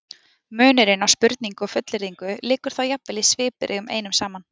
Munurinn á spurningu og fullyrðingu liggur þá jafnvel í svipbrigðunum einum saman.